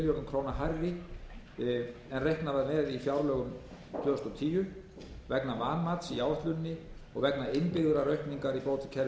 króna hærri en reiknað var með í fjárlögum tvö þúsund og tíu vegna vanmats í áætluninni og vegna innbyggðrar aukningar í bótakerfinu milli